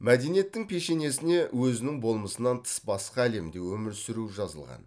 мәдениеттің пешенесіне өзінің болмысынан тыс басқа әлемде өмір сүру жазылған